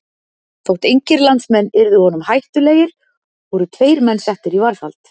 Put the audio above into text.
Þótt engir landsmenn yrði honum hættulegir voru tveir menn settir í varðhald.